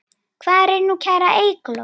Hvar er nú kæra Eygló?